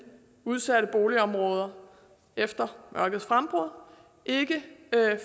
udsatte boligområder efter mørkets frembrud ikke